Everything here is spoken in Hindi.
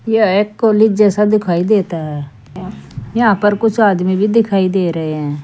यह कॉलेज जैसा दिखाई देता है यहां पर कुछ आदमी भी दिखाई दे रहे हैं।